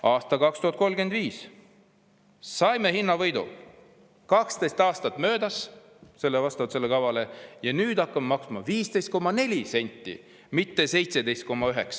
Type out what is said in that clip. Aastal 2035 saame hinnavõidu, 12 aastat möödub vastavalt kavale ja nüüd hakkame maksma 15,4 senti, mitte 17,9.